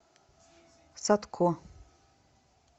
садко